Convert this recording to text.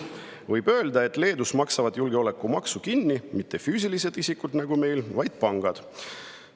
Võib öelda, et Leedus ei maksa julgeolekumaksu kinni mitte füüsilised isikud nagu meil, vaid pangad.